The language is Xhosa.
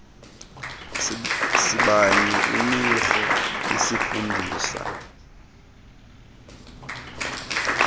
sibanye imikro isifundisa